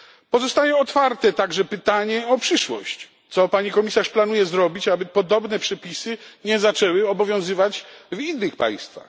Pozostaje otwarte także pytanie o przyszłość co Pani Komisarz planuje zrobić, aby podobne przepisy nie zaczęły obowiązywać w innych państwach?